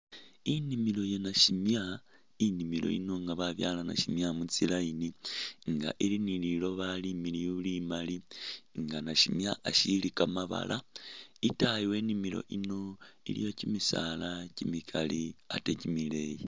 Inimilo iye nasimya, inimilo iyi nga babyaala nasimya mu tsi'line nga ili ni lilooba limiliyu limaali nga nasimya asiili kamabaala itaayi we inimilo iyino iliyo kimisaala kimikaali ate kimileeyi.